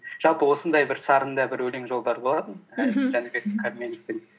жалпы осындай бір сарында бір өлең жолдары болатын мхм жәнібек кәрменовтың